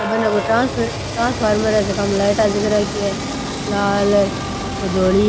ए बने कोई transfer transformer है जका में लाइटा जग राखी है लाल कोई धोली